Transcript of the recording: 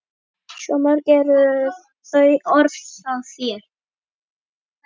Svo mörg eru þau orð hjá þér.